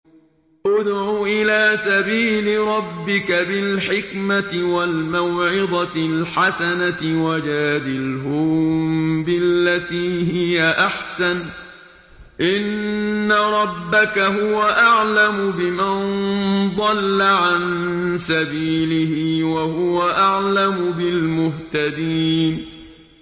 ادْعُ إِلَىٰ سَبِيلِ رَبِّكَ بِالْحِكْمَةِ وَالْمَوْعِظَةِ الْحَسَنَةِ ۖ وَجَادِلْهُم بِالَّتِي هِيَ أَحْسَنُ ۚ إِنَّ رَبَّكَ هُوَ أَعْلَمُ بِمَن ضَلَّ عَن سَبِيلِهِ ۖ وَهُوَ أَعْلَمُ بِالْمُهْتَدِينَ